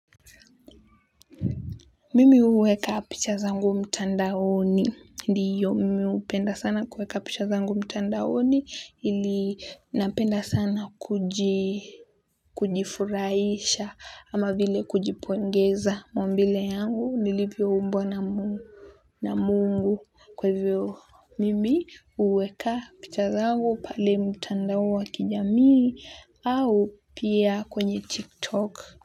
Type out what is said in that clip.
Mimi huweka picha zangu mtandaoni ndiyo mimi hupenda sana kuweka picha zangu mtandaoni ili napenda sana kuji kujifurahisha ama vile kujipongeza maumbile yangu nilivyoumbwa na mungu na mungu kwaivyo mimi huweka picha zangu pale mtandaowa kijamii au pia kwenye tiktok.